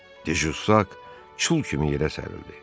De Juşak çul kimi yerə sərildi.